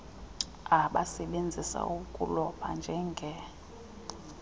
abasebenzisa ukuloba njenge